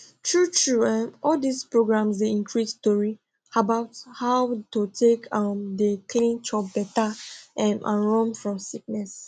true true um all dis programs dey increase tori about how to take um dey clean chop better um and run fom sickness